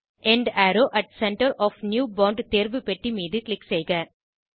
end arrow at centre of new font தேர்வு பெட்டி மீது க்ளிக் செய்க